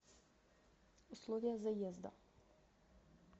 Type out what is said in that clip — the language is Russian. условия заезда